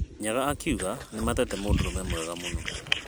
Nyaga akĩuga nĩmatete mũndũrũme mwega mũno.